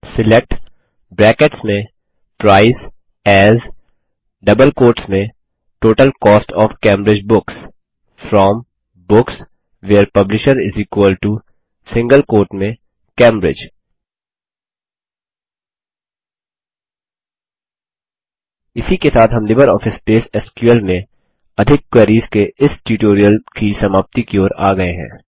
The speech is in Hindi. select A S total cost O F Cambridge books from books where publisher Cambridge इसी के साथ हम लिबरऑफिस बेस एसक्यूएल व्यू में अधिक क्वेरीस के इस ट्यूटोरियल की समाप्ति की ओर आ गये हैं